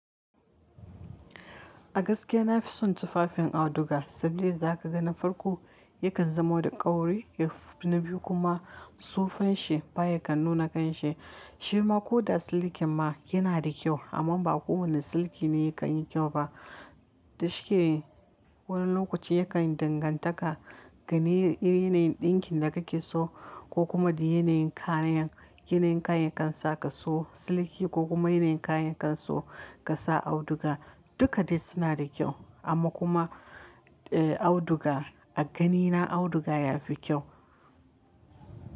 A gaskiya na fi son tufafin auduga, saboda da za ka ga na farko yakan zamo da kauri na biyu kuma sofan shi baya kan nuna kanshi. Shi ma ko da silikin ma yana da kyau amma ba kowane siliki ne ya kan yi kyau ba. Dashi ke wani lokaci yakan dangantaka ganin irin dinkin da kake so ko kuma da yanayin kayan, yanayin kayan kan sa ka so siliki ko kuma yanayin kayan kan sa ka sa auduga dukka dai suna da kyau amma kuma eh auduga a ganina auduga ya fi kyau.